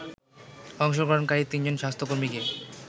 অংশগ্রহণকারী তিনজন স্বাস্থ্য কর্মীকে